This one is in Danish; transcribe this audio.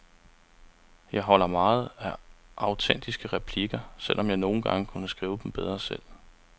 Jeg holder meget af autentiske replikker, selv om jeg nogle gange kunne skrive dem bedre selv.